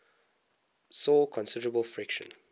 saw considerable friction